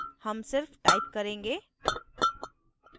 हम सिर्फ type करेंगे